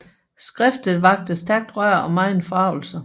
Skriftet vakte stærkt røre og megen forargelse